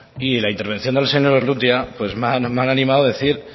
y la intervención del señor urrutia pues me han animado a decir